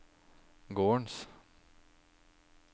gårdens